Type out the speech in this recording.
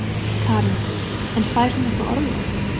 Karen: En fær hún eitthvað orlof?